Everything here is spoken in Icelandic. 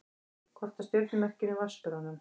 Kort af stjörnumerkinu Vatnsberanum.